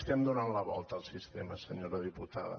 estem donant la volta al sistema senyora diputada